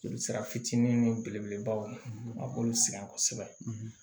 Joli sira fitinin belebelebaw ye a b'olu sɛgɛn kosɛbɛ